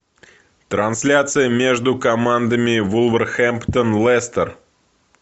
трансляция между командами вулверхэмптон лестер